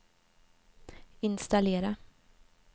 installera